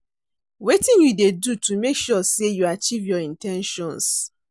Wetin you dey do to make sure say you achieve your in ten tions?